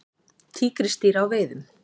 Tígrisdýr á veiðum.